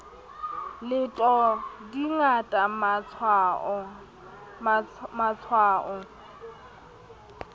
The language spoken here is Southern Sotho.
leto di ngata ma tshwao